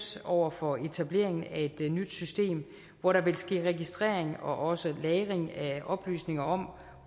over for etableringen af et nyt system hvor der vil ske registrering og også lagring af oplysninger om